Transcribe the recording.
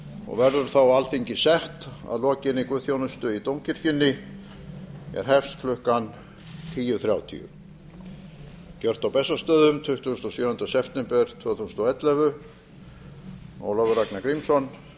og verður þá alþingi sett að lokinni guðsþjónustu í dómkirkjunni er hefst klukkan tíu þrjátíu gjört á bessastöðum tuttugasta og sjöunda september tvö þúsund og ellefu ólafur ragnar grímsson